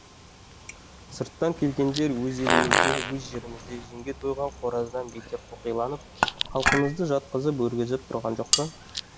сырттан келгендер өз елімізде өз жерімізде жемге тойған қораздан бетер қоқиланып халқымызды жатқызып өргізіп тұрған жоқ па